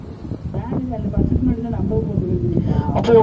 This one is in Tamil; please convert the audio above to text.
வேனுக்கு அந்த bus க்கு முன்னாடிதான்